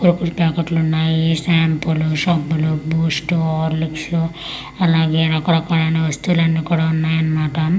లోపాల్ పాకెట్లు ఉన్నాయి స్టాంప్లు సబ్బులు బూస్ట్ హార్లిక్స్ వు అలగే రకరకాలైన వస్తువులు కూడా ఉన్నాయి అన్నమాట .